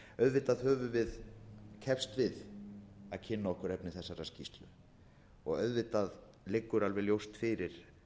auðvitað höfum við keppst við að kynna okkur efni þessarar skýrslu og auðvitað liggur alveg ljóst fyrir